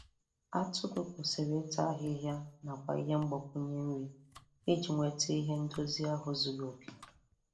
Atụrụ kwesiri ịta ahihịa nakwa ihe mgbakwụnye nri iji nweta ihe ndozi ahụ zuru oke.